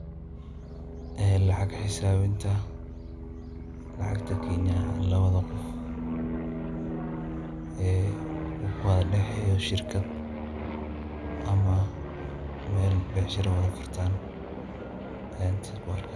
Lacag xisaabinta, lacagta Kenya labada qof ee ukala daxeeyo shirkad ama meel becshira wada furtaan ayaan halkan ku arkaa.